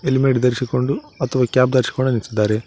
Helmet ಧರಿಸಿಕೊಂಡು ಅಥವಾ cap ಧರಿಸಿಕೊಂಡು ನಿಂತಿದ್ದಾರೆ.